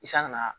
I sanga na